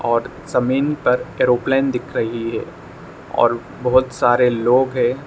और जमीन पर एयरप्लेन दिख रही है और बहोत सारे लोग है।